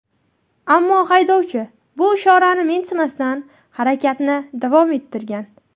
Ammo haydovchi bu ishorani mensimasdan, harakatni davom ettirgan.